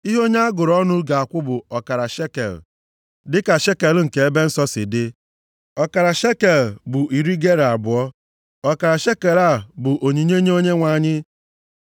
Ihe onye a gụrụ ọnụ ga-akwụ bụ ọkara shekel, dịka shekel nke ebe nsọ si dị. Ọkara shekel bụ iri gera abụọ. + 30:13 \+xt Mat 17:24\+xt* Ọkara shekel a bụ onyinye nye Onyenwe anyị.